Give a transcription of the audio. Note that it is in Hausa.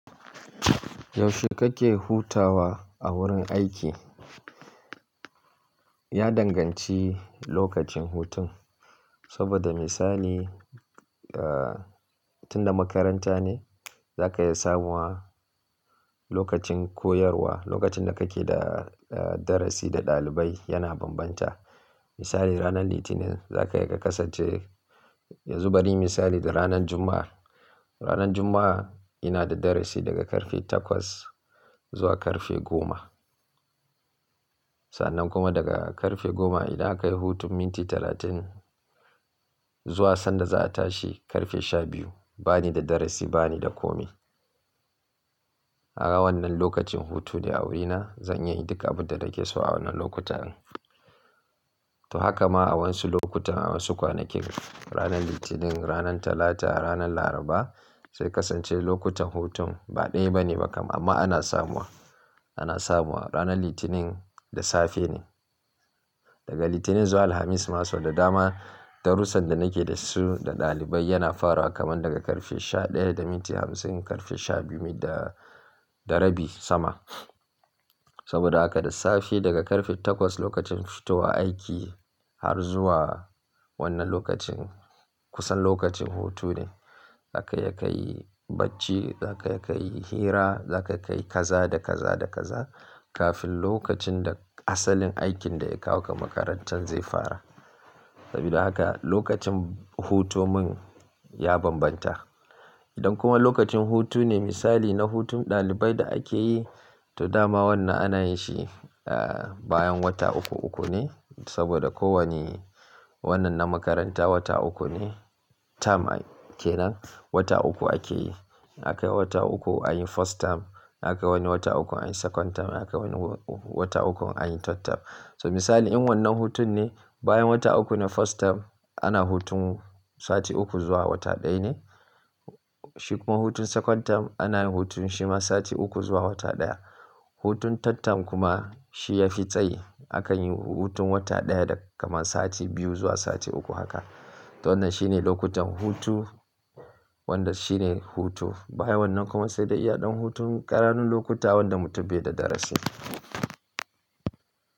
Yaushe kake hutawa a wurin aiki? Ya danganci lokacin hutun. Saboda misali, eh, tunda makaranta ne, zaka iya samuwa lokacin koyarwa, lokacin da kake da darasi da ɗalibai yana bambanta. Misali ranar Litinin zaka iya kasance yanzu bari in yi misali da ranar Juma'a. Ranar Juma'a ina da darasi daga karfe takwas zuwa karfe goma. Sannan kuma daga karfe goma idan aka yi hutun minti talatin zuwa sanda za a tashi karfe sha biyu, bani da darasi, bani da komi. A wannan lokacin hutu ne a wurina zan iya yin duk abun da nake so a wannan lokutan. To haka ma a wasu lokutan, a wasu kwanakin ranar Litinin, ranar Talata, ranar Laraba sai ya kasance lokutan hutun ba ɗaya bane ba kam amma ana samuwa, ana samuwa. Ranar Litinin da safe ne. Daga Litinin zuwa Alhamis ma sau da dama darussan da nake da su da ɗalibai yana fara kamar daga karfe sha ɗaya da minti hamsin, karfe sha biyu da, da rabi sama. Saboda haka da safe daga karfe takwas lokacin fito wa aiki har zuwa wannan lokacin kusan lokacin hutu ne. Zaka iya ka yi bacci, za ka iya ka yi hira, za ka iya ka yi kaza da kaza da kaza kafin lokacin da asalin aikin da ya kawo ka makarantar zai fara. Sabida haka lokacin hutu mun ya bambanta. Idan kuma lokacin hutu ne misali na hutun ɗalibai da ake yi, to dama wannan ana yin shi, eh, bayan wata uku uku ne. Saboda kowane wannan na makaranta wata uku ne term ake nan. Wata uku ake yi. Akayi wata uku anyi first term. Akayi wani wata uku anyi second term. Akayi wani wata uku anyi third term. So misali in wannan hutun ne bayan wata uku na first term ana hutun sati uku zuwa wata ɗaya ne. Shi kuma hutun second term ana yin hutun shi ma sati uku zuwa wata ɗaya. Hutun third term kuma shi ya fi tsayi. Akan yi hutun wata ɗaya da kaman sati biyu zuwa sati uku haka. To wannan shine lokutan hutu wanda shine hutu. Bayan wannan kuma sai dai iya ɗan hutun ƙananun lokuta wanda mutum bai da darasi.